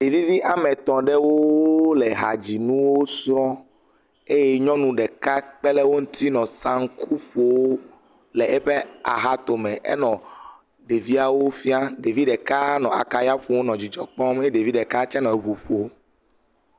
Ɖevi vi ame etɔ̃ aɖewo … le ehadzi nu srɔ̃m eye nyɔnu ɖeka kpe ɖe wo ŋuti nɔ sanku ƒom le eƒe axatome. Enɔ ɖeviawo fiam. Ɖevi ɖeka nɔ akaya ƒom nɔ dzidzɔkpɔm eye ɖevi ɖeka tse nɔ ŋu ƒom